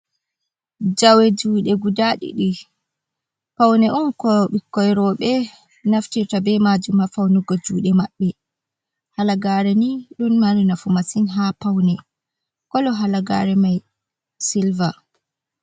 Jawe juɗe guda ɗidi paune on ko ɓikkon robe naftira ta be majum ha faunugo jude mabbe halagare ni ɗum mari nafu masin ha paune kolo halagare mai silver.